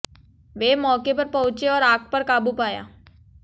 वे मौके पर पहुंचे और आग पर काबू पाया